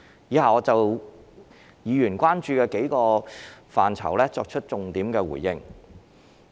以下我會就議員關注的數個範疇，作出重點回應。